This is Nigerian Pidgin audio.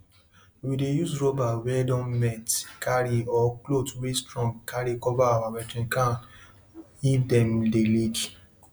animals dey sleep better for house wey get soft thing wey dem put for ground for fowl make dem stay and make d area dry